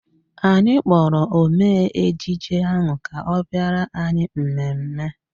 Anyị kpọrọ omee ejije ahụ ka ọ bịara anyị mmemme